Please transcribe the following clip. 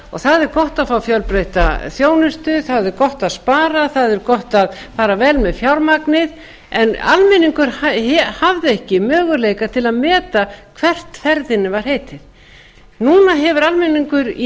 það er gott að fá fjölbreytta þjónustu það er gott að spara það er gott að fara vel með fjármagnið en almenningur hafði ekki möguleika til að meta hvert ferðinni var heitið núna hefur almenningur í